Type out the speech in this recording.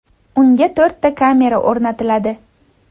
Unga to‘rtta kamera o‘rnatiladi.